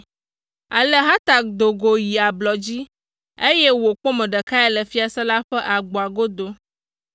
Ale Hatak do go yi ablɔ dzi, eye wòkpɔ Mordekai le fiasã la ƒe agboa godo.